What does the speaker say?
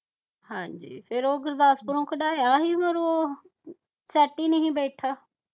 ਹਾਂਜੀ ਫਿਰ ਉਹ ਗੁਰਦਾਸਪੁਰੋਂ ਕਡਾਇਆ ਹੀ ਫਿਰ ਉਹ set ਹੀ ਨਹੀਂ ਬੈਠਾ